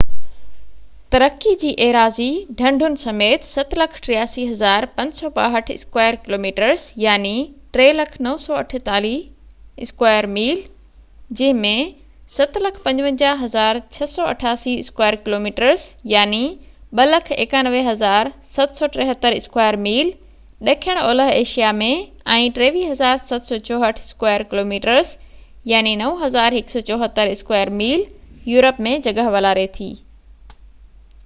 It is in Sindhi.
ترقي جي ايراضي، ڍنڍن سميت، 783،562 اسڪوائر ڪلوميٽرس 300،948 اسڪوائر ميل، جنهن ۾ 755،688 اسڪوائر ڪلوميٽرس 291،773 اسڪوائر ميل ڏکڻ اولهہ Asia ۾۽ 23،764 square kilometres 9،174 square mile Europe ۾ جڳهہ والاري ٿي